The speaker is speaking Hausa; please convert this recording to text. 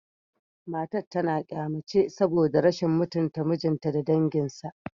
Matar tana kyama ce saboda rashin mutunta mijinta da danginsa